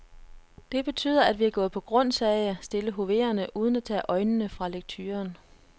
Det betyder, at vi er gået på grund, sagde jeg, stille hoverende, uden at tage øjnene fra lekturen.